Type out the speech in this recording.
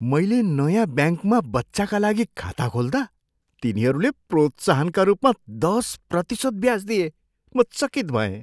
मैले नयाँ ब्याङ्कमा बच्चाका लागि खाता खोल्दा तिनीहरूले प्रोत्साहनका रूपमा दस प्रतिशत ब्याज दिए, म चकित भएँ।